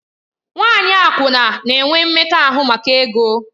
Nwanyị akwụna na-enwe mmekọahụ maka ego.